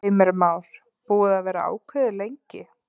Heimir Már: Búið að vera ákveðið lengi?